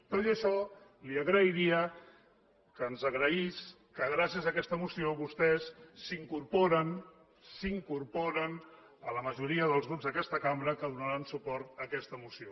tot i això li agrairia que ens agraís que gràcies a aquesta moció vostès s’incorporen a la majoria dels grups d’aquesta cambra que donaran suport a aquesta moció